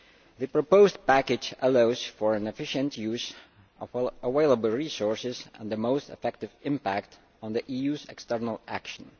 The proposed package allows for an efficient use of available resources and the most effective impact on the EU's external action.